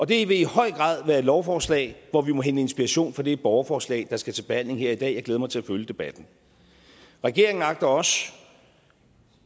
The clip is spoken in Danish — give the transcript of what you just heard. det vil i høj grad være et lovforslag hvor vi må hente inspiration fra det borgerforslag der skal til behandling her i dag jeg glæder mig til at følge debatten regeringen agter også